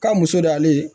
K'a muso d'ale ye